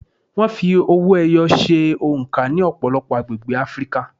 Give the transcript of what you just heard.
Wọ́n fi owó-ẹyọ ṣe oǹkà ní ọ̀pọ̀lọpọ̀ agbègbè Áfríkà.